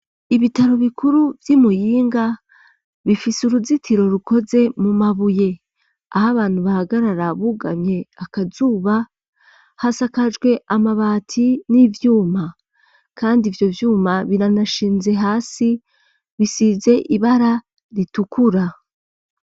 Ibitaro bikuru vy'i Muyinga, bifise uruzitiro rukoze mu mabuye. Aho abantu bahagarara bugamye akazuba hasakajwe amabati n'ivyuma. Kandi ivyo vyuma biranashinze hasi bisize ibara ritukura.